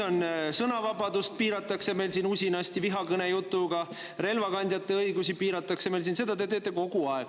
Sõnavabadust piiratakse usinasti vihakõnejutuga, relvakandjate õigusi piiratakse meil siin – seda te teete kogu aeg.